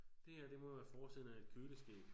Det her det må være forsiden af et køleskab